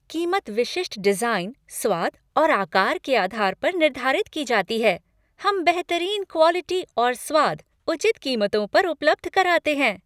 कीमत विशिष्ट डिजाइन, स्वाद और आकार के आधार पर निर्धारित की जाती है। हम बेहतरीन क्वॉलिटी और स्वाद उचित कीमतों पर उपलब्ध कराते हैं।